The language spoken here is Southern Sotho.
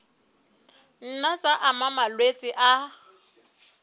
nna tsa ama malwetse a